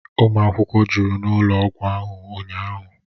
Ụmụ akwụkwọ jụrụ n'ụlọ ọgwụ ahụ ụnyahụ